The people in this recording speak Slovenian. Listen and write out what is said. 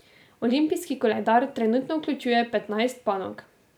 Olimpijski koledar trenutno vključuje petnajst panog.